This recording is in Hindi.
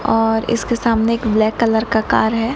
और इसके सामने एक ब्लैक कलर का है।